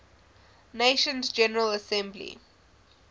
nations general assembly